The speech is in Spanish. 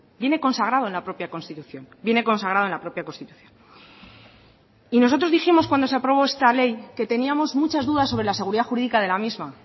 viene consagrado en la propia constitución viene consagrado en la propia constitución y nosotros dijimos cuando se aprobó esta ley que teníamos muchas dudas sobre la seguridad jurídica de la misma